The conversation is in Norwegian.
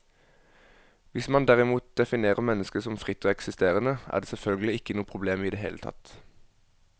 Hvis man derimot definerer mennesket som fritt og eksisterende, er det selvfølgelig ikke noe problem i det hele tatt.